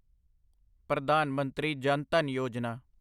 Pradhan Mantri Jan Dhan Yojana